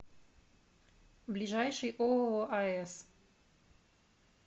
ближайший ооо ас